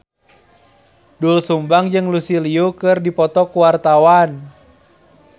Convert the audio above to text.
Doel Sumbang jeung Lucy Liu keur dipoto ku wartawan